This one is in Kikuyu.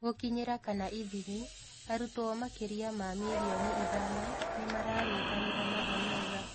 Gũkinyĩra / ithimi: Arutwo makĩria ma milioni ithano nĩ maranyitanĩra na Eneza